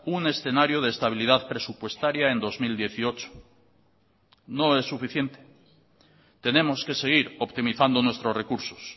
un escenario de estabilidad presupuestaria en dos mil dieciocho no es suficiente tenemos que seguir optimizando nuestros recursos